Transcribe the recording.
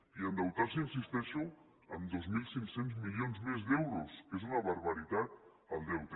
i endeutar se hi insisteixo en dos mil cinc cents milions més d’euros que és una barbaritat el deute